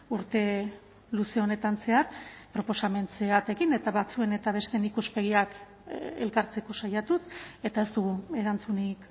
urte luze honetan zehar proposamen zehatzekin eta batzuen eta besteen ikuspegiak elkartzeko saiatuz eta ez dugu erantzunik